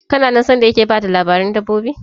Kana nan sanda yake bayar da labarin dabbobi?